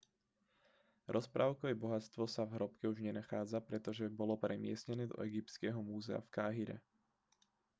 rozprávkové bohatstvo sa v hrobke už nenachádza pretože bolo premiestnené do egyptského múzea v káhire